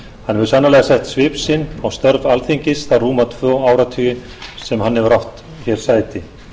hann hefur sannarlega sett sinn á störf alþingis þá rúma tvo áratugi sem hann hefur átt sæti